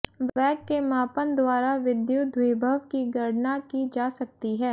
वेग के मापन द्वारा विद्युद्विभव की गणना की जा सकती है